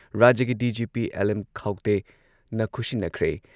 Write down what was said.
ꯔꯥꯖ꯭ꯌꯒꯤ DGP L M ꯈꯧꯇꯦꯅ ꯈꯨꯠꯁꯤꯟꯅꯈ꯭ꯔꯦ ꯫